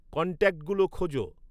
কন্ট্যাক্টগুলো খোঁজ